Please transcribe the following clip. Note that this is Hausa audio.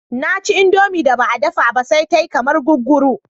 Na ci indomie da ba a dafa ba sai ta yi kamar guguru